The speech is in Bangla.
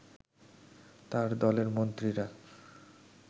তার দলের মন্ত্রীরা